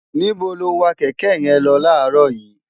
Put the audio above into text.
níbo lo wa kẹ̀kẹ́ yẹn lọ láàárọ̀ yìí?